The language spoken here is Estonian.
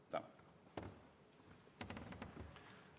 Tänan!